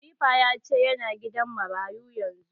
Khalifa ya ce ya na gidan marayu yanzu